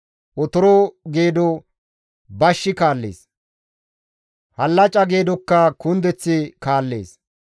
Otoro geedo bashshi kaallees; hallaca geedokka kundeththi kaallees.